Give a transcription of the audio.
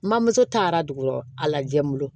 Mamuso taara dugu a lajɛ n bolo